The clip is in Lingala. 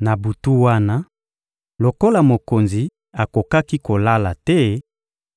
Na butu wana, lokola mokonzi akokaki kolala te,